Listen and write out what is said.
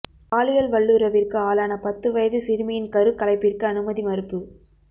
பாலியல் வல்லுறவிற்கு ஆளான பத்து வயது சிறுமியின் கருக்கலைப்பிற்கு அனுமதி மறுப்பு